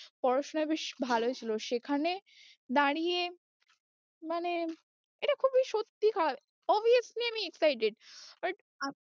পড়াশোনায় বেশ ভালোই ছিল, সেখানে দাঁড়িয়ে মানে এটা খুবই সত্যি খারাপ obviously আমি excited but আমি